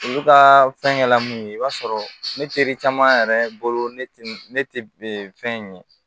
Olu ka fɛngɛ la min ye i b'a sɔrɔ ne teri caman yɛrɛ bolo ne ne tɛ fɛn in ye